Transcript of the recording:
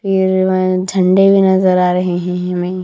फिर झंडे भी नजर आ रहे हैं हमें।